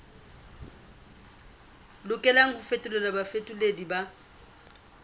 lokelang ho fetolelwa bafetoleding ba